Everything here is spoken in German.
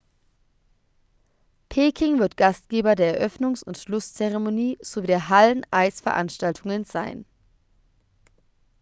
peking wird gastgeber der eröffnungs und schlusszeremonie sowie der halleneisveranstaltungen sein